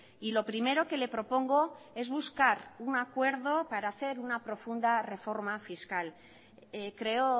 y lo primero que le propongo es buscar un acuerdo para hacer una profunda reforma fiscal creo